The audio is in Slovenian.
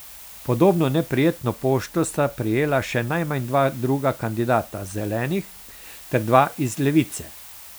Podobno neprijetno pošto sta prejela še najmanj dva druga kandidata Zelenih ter dva iz Levice.